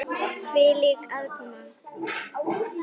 Hvílík aðkoma!